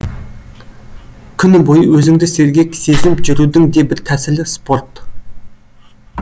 күні бойы өзіңді сергек сезініп жүрудің де бір тәсілі спорт